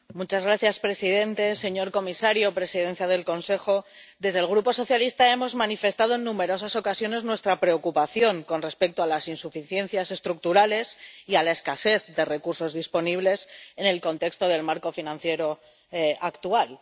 Señor presidente, señor comisario, presidencia del Consejo, desde el Grupo SD hemos manifestado en numerosas ocasiones nuestra preocupación con respecto a las insuficiencias estructurales y a la escasez de recursos disponibles en el contexto del marco financiero actual.